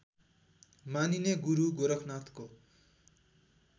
मानिने गुरु गोरखनाथको